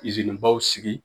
izinibaw sigi